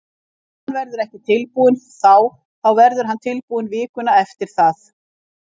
Ef hann verður ekki tilbúinn þá þá verður hann tilbúinn vikuna eftir það.